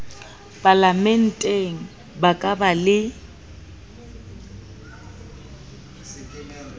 palamenteng ba ka ba le